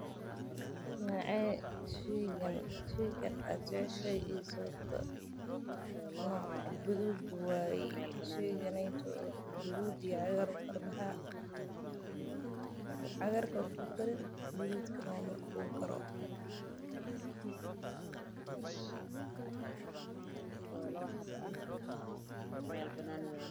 Nocee sheygan aad jeceshahay iyo sababta nooca gaduud waye cagaar iyo gaduud.